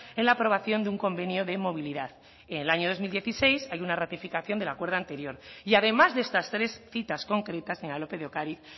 en la aprobación de un convenio de movilidad y en el año dos mil dieciséis hay una rectificación del acuerdo anterior y además de estas tres citas concretas señora lópez de ocariz